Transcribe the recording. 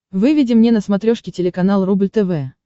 выведи мне на смотрешке телеканал рубль тв